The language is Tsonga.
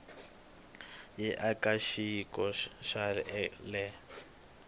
ya eka xiyimo xa le